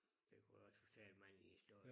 Der kunne jeg også fortælle mange historier